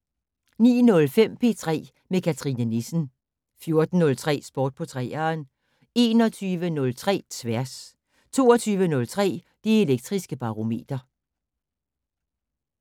09:05: P3 med Cathrine Nissen 14:03: Sport på 3'eren 21:03: Tværs 22:03: Det Elektriske Barometer